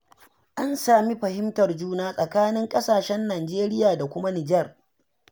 An sami fahimtar juna a tsakanin ƙasashen Nijeriya da kuma Nijar.